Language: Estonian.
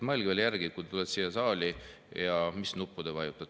Mõelge veel järele, mis nuppu te vajutate, kui te tulete siia saali!